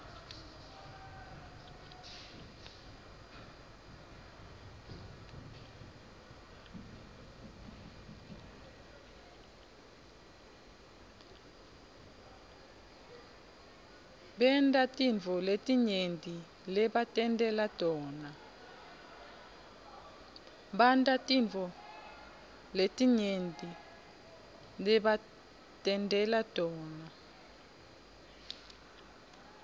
bantatintfo letinyenti lebatentela tona